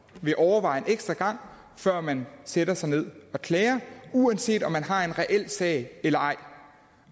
vil overveje en ekstra gang før man sætter sig ned og klager uanset om man har en reel sag eller ej